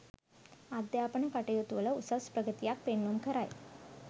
අධ්‍යාපන කටයුතුවල උසස් ප්‍රගතියක් පෙන්නුම් කරයි.